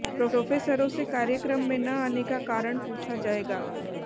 प्रोफेसरों से कार्यक्रम में न आने का कारण पूछा जाएगा